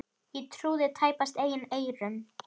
Ég trúði tæpast eigin eyrum.